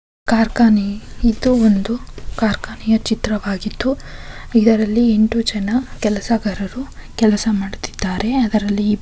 ಇದು ಒಂದು ಖಾರ್ಖಾನೆಯ ಚಿತ್ರವಾಗಿದ್ದು ಇದರಲ್ಲಿ ಎಂಟು ಜನ ಕೆಲಸಗಾರು ಕೆಲಸ ಮಾಡುತಿದ್ದರೆ ಅದರಲ್ಲಿ ಇಬ್ಬರು ಕ್ಯೆ ಕಟ್ಟಿಕೊಂಡು ನಿಂತು ಮಾತನಾಡುತಿದ್ದರೆ ಇಲ್ಲಿ ಹಳದಿ ನೀಲಿ ಬಿಳಿ ಬಣ್ಣಗಳು ಕಾಣಿಸ್ತಾ ಇದ್ದು ಒಂದು ಥೆಂಗಿನ ಕಾಯಿ ಒಂದು ಓದುಬತಿ ಇದೆ.